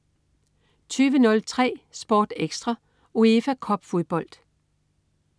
20.03 SportEkstra: UEFA Cup-fodbold